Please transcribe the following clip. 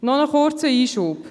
Noch einen kurzen Einschub: